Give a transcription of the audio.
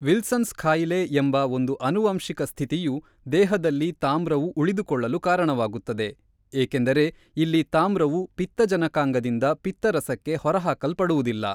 Wilson's ಕಾಯಿಲೆ ಎಂಬ‌ ಒಂದು ಆನುವಂಶಿಕ ಸ್ಥಿತಿಯು ದೇಹದಲ್ಲಿ ತಾಮ್ರವು ಉಳಿದುಕೊಳ್ಳಲು ಕಾರಣವಾಗುತ್ತದೆ, ಏಕೆಂದರೆ ಇಲ್ಲಿ ತಾಮ್ರವು ಪಿತ್ತಜನಕಾಂಗದಿಂದ ಪಿತ್ತರಸಕ್ಕೆ ಹೊರಹಾಕಲ್ಪಡುವುದಿಲ್ಲ.